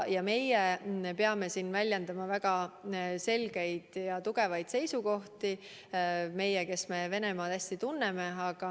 Meie peame siin väljendama väga selgeid ja tugevaid seisukohti – meie, kes me Venemaad hästi tunneme.